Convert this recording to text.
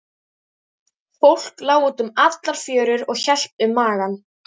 Fólk lá út um allar fjörur og hélt um magann.